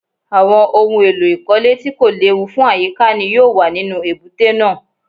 Àwọn ohun èlò ìkọ́lé tí kò léwu fún àyíká ni yóò wà nínú èbúté náà